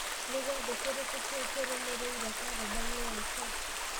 nĩ gĩathĩ kĩrĩkũ kĩu kĩrũmĩrĩire karenda-inĩ yakwa